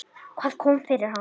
Hvað kom fyrir hann?